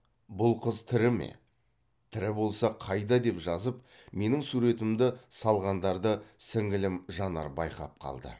бұл қыз тірі ме тірі болса қайда деп жазып менің суретімді салғандарды сіңілім жанар байқап қалды